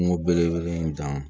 Kungo belebele in dan